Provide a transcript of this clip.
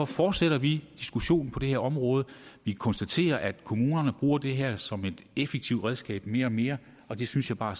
fortsætter vi diskussionen på det her område vi konstaterer at kommunerne bruger det her som et effektivt redskab mere og mere og det synes jeg bare